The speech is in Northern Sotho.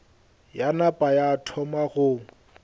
ya napa ya thoma go